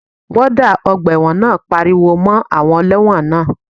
Wọ́ọ́dà ọgbà ẹ̀wọ̀n náà pariwo mọ́ àwọn ẹlẹ́wọ̀n náà